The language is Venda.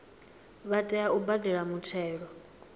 vha tea u badela muthelo